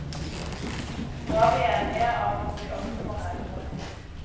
Nå er vi enige om at vi også må reise.